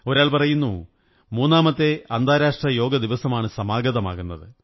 ഒരാൾ പറയുന്നു മൂന്നാമത്തെ അന്താരാഷ്ട്ര യോഗദിവസമാണ് സമാഗതമാകുന്നത്